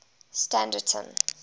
standerton